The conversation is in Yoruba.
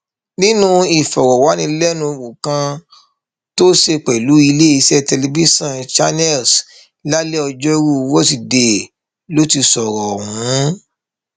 nínú ìfọrọwánilẹnuwò kan tó ṣe pẹlú iléeṣẹ tẹlifíṣàn channels lálẹ ọjọrùú wísidee ló ti sọrọ ọhún